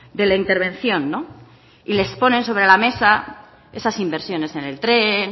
de la intervención y les ponen sobre la mesa esas inversiones en el tren